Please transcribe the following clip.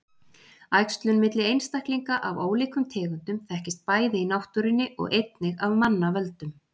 Æxlun milli einstaklinga af ólíkum tegundum þekkist bæði í náttúrunni og einnig af manna völdum.